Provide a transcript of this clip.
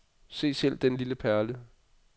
Se selv denne lille perle.